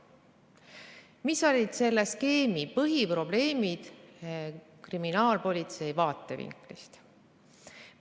Mis oli selle skeemi põhiprobleem kriminaalpolitsei vaatevinklist?